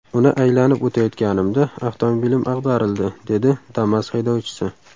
Uni aylanib o‘tayotganimda avtomobilim ag‘darildi”, dedi Damas haydovchisi.